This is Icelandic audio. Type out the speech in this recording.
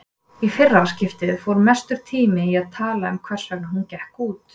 Í fyrra skiptið fór mestur tíminn í að tala um hversvegna hún gekk út.